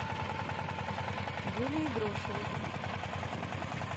юлии грошевой